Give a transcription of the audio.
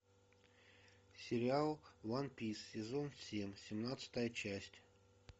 сериал ван пис сезон семь семнадцатая часть